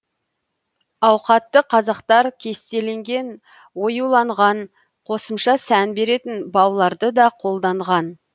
ауқатты қазақтар кестеленген оюланған қосымша сән беретін бауларды да қолданған